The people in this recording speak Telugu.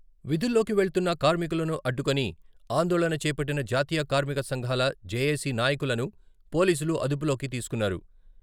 విధుల్లోకి వెళ్తున్న కార్మికులను అడ్డుకుని ఆందోళన చేపట్టిన జాతీయ కార్మిక సంఘాల జేఏసీ నాయకులను పోలీసులు అదుపులోకి తీసుకున్నారు.